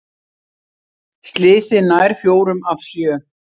Slysið nær fjórum af sjö